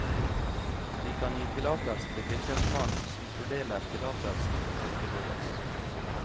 De kan gi tillatelse til fylkesmannen, som fordeler tillatelsen når det behøves.